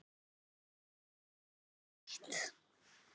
Er þér ekki heitt?